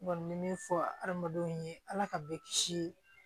N kɔni bɛ min fɔ hadamadenw ye ala ka bɛɛ kisi